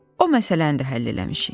O məsələni də həll eləmişik.